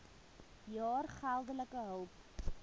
jaar geldelike hulp